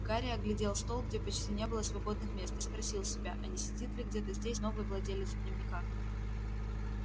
гарри оглядел стол где почти не было свободных мест и спросил себя а не сидит ли где-то здесь новый владелец дневника